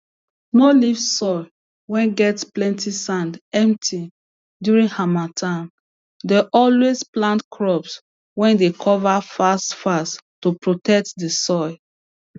no leave soil whey get plenty sand empty during harmattan dey always plant crops whey dey cover fast fast to protect the soil